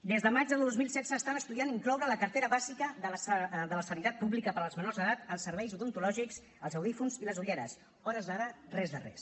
des de maig de dos mil setze estan estudiant incloure a la cartera bàsica de la sanitat pública per als menors d’edat els serveis odontològics els audiòfons i les ulleres a hores d’ara res de res